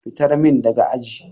Fitar min daga aji.